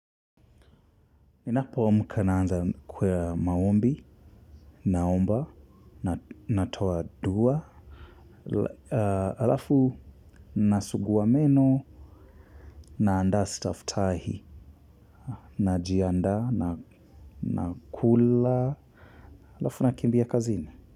Ninapo amka naanza kwa maombi, naomba, natoa dua, halafu nasugua meno, naandaa staftahi, najiandaa, nakula, halafu nakimbia kazini.